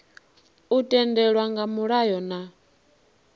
u tendelwa nga mulayo na